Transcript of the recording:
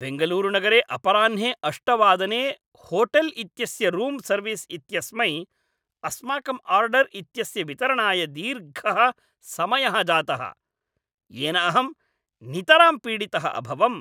बेङ्गलूरुनगरे अपराह्णे अष्टवादने होटेल् इत्यस्य रूम् सर्विस् इत्यस्मै अस्माकं आर्डर् इत्यस्य वितरणाय दीर्घः समयः जातः, येन अहं नितरां पीडितः अभवम्।